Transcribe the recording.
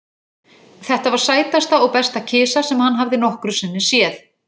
Þetta var sætasta og besta kisa sem hann hafði nokkru sinni séð.